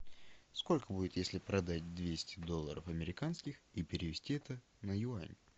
сколько будет если продать двести долларов американских и перевести это на юани